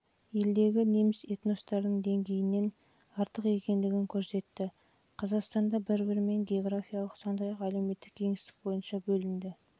елдегі неміс этностарының деңгейінен артық екендігін көрсетті қазақстанда бір-бірімен географиялық сондай-ақ әлеуметтік кеңістік бойынша бөлінді